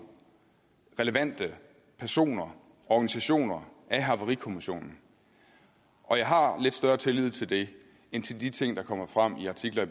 relevante personer og organisationer af havarikommissionen og jeg har lidt større tillid til det end til de ting der kommer frem i artikler